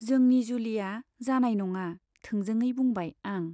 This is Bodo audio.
जोंनि जुलिया जानाय नङा थोंजोङै बुंबाय आं।